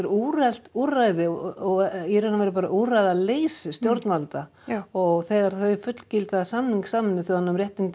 úrelt úrræði og í raun og veru bara úrræðaleysi stjórnvalda já og þegar þau fullgilda samning Sameinuðu þjóðanna um réttindi